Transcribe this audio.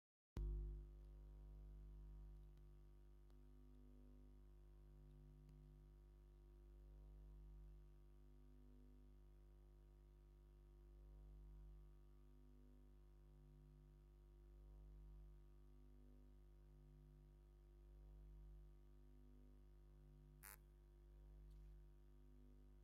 ኣብዚኣብ ላዕሊኣብ ሓንቲ ብእምኒ ዝተሰርሐት ቤተክርስትያን፡ብዙሓት ጻዕዳ ክዳን ዝተኸድኑ ሰባት ኮፍ ኢሎም ኣለዉ። ኣብ ካልኣይ ክፋል ድማ ኣብ ደጋዊ ከባቢ ዓበይቲ ኣኻውሕ ዝበዝሖ ኣኽራንን ንጹር ሰማይን ይርአ። እቶም ኣብ ላዕሊ ኣብ ስእሊ ዘለዉ ሰባት እንታይ ይገብሩ ኣለው?